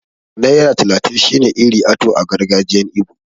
Naira talatin shine 'Iri ato' a gargajiyan ibo.